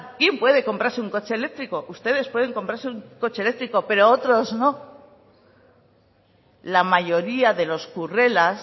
quién puede comprarse un coche eléctrico ustedes pueden comprarse un coche eléctrico pero otros no la mayoría de los currelas